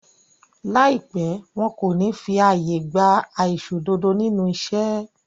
Láìpẹ́, wọn kò ní fí àyè gba aìṣòdodo nínú iṣẹ́